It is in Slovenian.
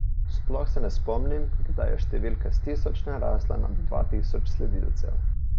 Sploh se ne spomnim, kdaj je številka s tisoč narasla nad dva tisoč sledilcev.